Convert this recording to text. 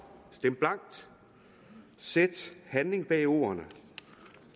stemme blankt sætte handling bag ordene